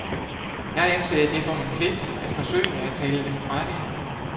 Jeg anser det for min pligt at forsøge at tale dem fra det.